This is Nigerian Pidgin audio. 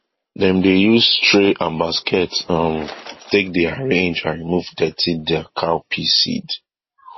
dem dey use tray and basket um take dey arrange and remove dirty der cowpea seed